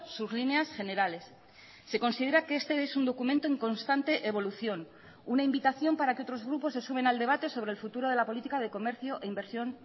sus líneas generales se considera que este es un documento en constante evolución una invitación para que otros grupos se sumen al debate sobre el futuro de la política de comercio e inversión